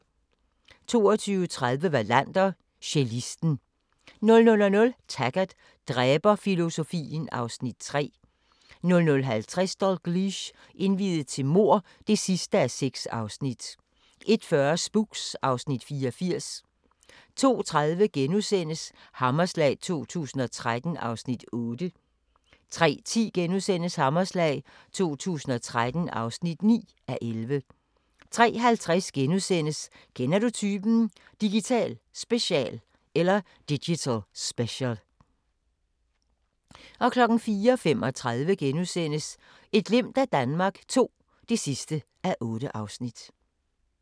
22:30: Wallander: Cellisten 00:00: Taggart: Dræberfilosofien (Afs. 3) 00:50: Dalgliesh: Indviet til mord (6:6) 01:40: Spooks (Afs. 84) 02:30: Hammerslag 2013 (8:11)* 03:10: Hammerslag 2013 (9:11)* 03:50: Kender du typen? – Digital special * 04:35: Et glimt af Danmark II (8:8)*